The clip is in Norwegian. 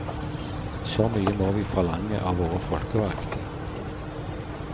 Så mye må vi forlange av våre folkevalgte.